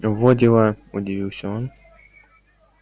во дела удивился он